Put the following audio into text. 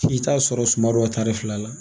F'i t'a sɔrɔ suma dɔ tari fila la